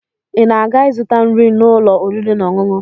Ị na-aga ịzụta nri n'ụlọ oriri na ọṅụṅụ?